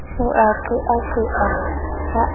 o a qeaqea ha a